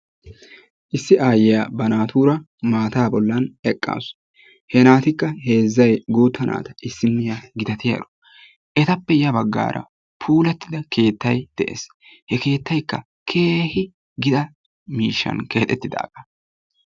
Issi aayyiyaa ba naatura maataa bollaan eqqaasu. He naatikka heezzay guutta naata. Issiniyaa gittatiyaaro etappe ya baggaara puulattida keettay de'ees. He keettaykka keehi giita miishshan keexxettidaaga.